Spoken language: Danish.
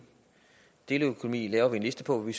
deleøkonomi laver vi en liste på hvor vi